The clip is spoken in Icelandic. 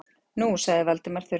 Nú- sagði Valdimar þurrlega.